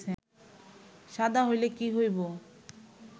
শাদা হইলে কী হইব